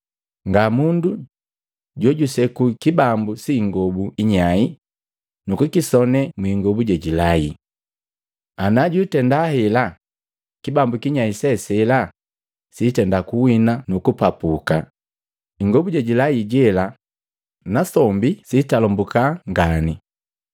“Nga mundu jojuseku kibambu si ingobu inyai nukukisonee mwingobu jejilai. Anajwitenda hela, kibambu kinyai se sela siitenda kuwina nuku kupapu ingobu jejilai jela, nasombi siitalambuka ngane.